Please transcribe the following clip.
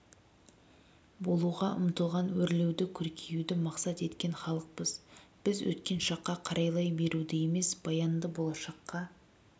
болуға ұмтылған өрлеуді көркеюді мақсат еткен халықпыз біз өткен шаққа қарайлай беруді емес баянды болашаққа